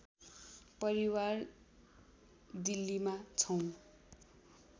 परिवार दिल्लीमा छौँ